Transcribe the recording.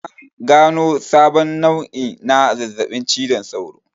An gano sabon nau'i na zazzaɓin cizon sauro